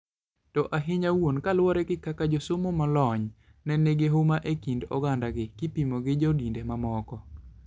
To ahinya wuon kaluwore gi kaka josomo molony ne nigi huma e kind ogandagi, kopimgi gi jo dinde mamoko.